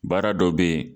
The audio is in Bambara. Baara dɔ bɛ yen